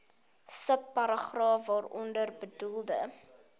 subparagraaf waaronder bedoelde